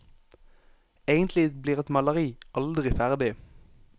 Egentlig blir et maleri aldri ferdig.